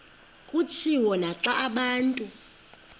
kutshiwo naxa abantu